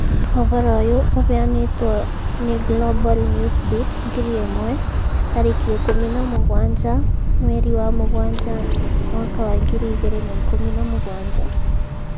Ũhoro ũyũ ũheanĩtwo nĩ Global Newsbeat ngiri ĩmwe 17/07/2017